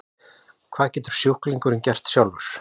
Hvað getur sjúklingurinn gert sjálfur?